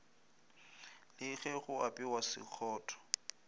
le ge go apewa sekgotho